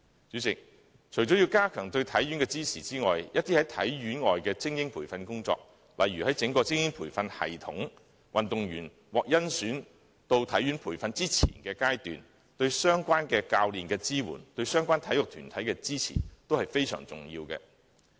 主席，除了要加強對體院的支持外，一些體院以外的精英培訓工作，例如在整個精英培訓系統下，於運動員獲甄選接受體院培訓前的階段，對相關教練的支援及對相關體育團體的支持，均非常重要。